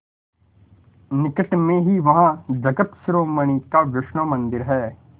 निकट में ही वहाँ जगत शिरोमणि का वैष्णव मंदिर है